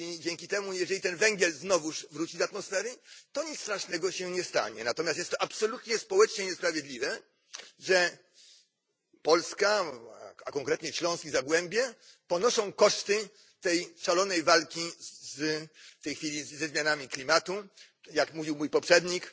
I dlatego, jeżeli ten węgiel znowuż wróci do atmosfery, to nic strasznego się nie stanie. Natomiast jest to absolutnie społecznie niesprawiedliwe, że Polska, a konkretnie Śląsk i Zagłębie ponoszą koszty tej szalonej obecnie walki ze zmianami klimatu, jak mówił mój poprzednik.